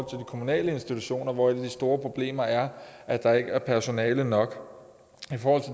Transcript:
de kommunale institutioner hvor et af de store problemer er at der ikke er personale nok